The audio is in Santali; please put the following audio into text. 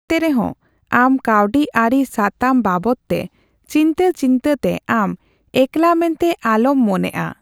ᱮᱱᱛᱮ ᱨᱮᱦᱚᱸ, ᱟᱢ ᱠᱟᱹᱣᱰᱤ ᱟᱹᱨᱤ ᱥᱟᱛᱟᱢ ᱵᱟᱵᱚᱛᱼᱛᱮ ᱪᱤᱱᱛᱟᱹ ᱪᱤᱱᱛᱟᱹ ᱛᱮ ᱟᱢ ᱮᱠᱞᱟ ᱢᱮᱱᱛᱮ ᱟᱞᱚᱢ ᱢᱚᱱᱮᱜᱼᱟ ᱾